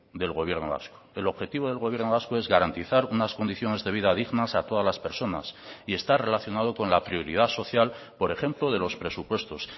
del gobierno vasco el objetivo del gobierno vasco es garantizar unas condiciones de vida dignas a todas las personas y está relacionado con la prioridad social por ejemplo de los presupuestos